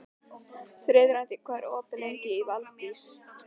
Þiðrandi, hvað er opið lengi í Valdís?